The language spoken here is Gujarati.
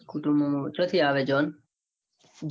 કુટુંબ માં ક્યોથી આવે છે જો